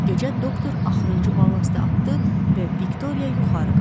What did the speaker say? Gecə doktor axırıncı ballastı atdı və Viktoriya yuxarı qalxdı.